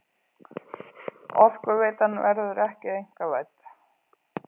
Orkuveitan verður ekki einkavædd